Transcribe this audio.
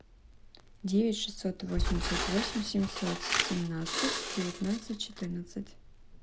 девять шестьсот восемьдесят восемь семьсот семнадцать девятнадцать четырнадцать